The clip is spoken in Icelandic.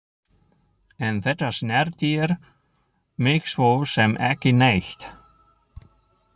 En þetta snertir mig svo sem ekki neitt.